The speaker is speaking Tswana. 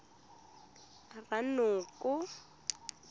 ranoko